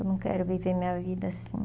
Eu não quero viver minha vida assim.